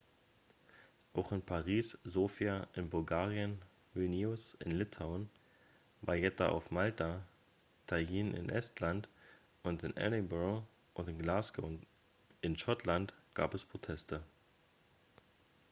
auch in paris sofia in bulgarien vilnius in litauen valletta auf malta tallinn in estland und in edinburgh und glasgow in schottland gab es proteste